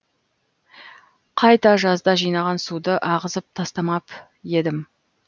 қайта жазда жинаған суды ағызып тастамап едім